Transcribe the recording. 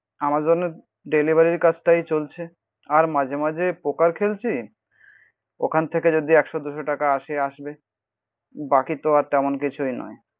Amazon ডেলিভারির কাজটাই চলছে আর মাঝে মাঝে পোকার খেলছি ওখান থেকে যদি একশো দুশো টাকা আসে আসবে. বাকি তো আর তেমন কিছুই নয়.